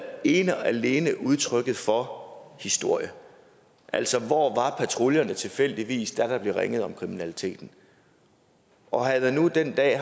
ene og alene udtryk for historie altså hvor var patruljerne tilfældigvis da der blev ringet om kriminaliteten og havde der nu den dag